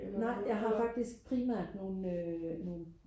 nej jeg har faktisk primært nogle øh nogle